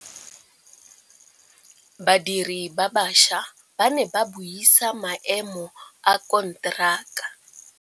Badiri ba baša ba ne ba buisa maêmô a konteraka.